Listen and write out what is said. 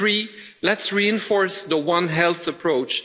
And three let's reinforce the one health' approach.